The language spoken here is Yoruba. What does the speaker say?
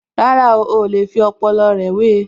Rárá, oò lè fi ọpọlọ rẹ̀ wè é